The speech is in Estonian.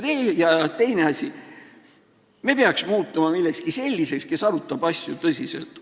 Teine asi, me peaks muutuma selliseks, kes arutab asju tõsiselt.